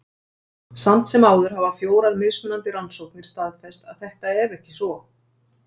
Samt sem áður hafa fjórar mismunandi rannsóknir staðfest að þetta er ekki svo.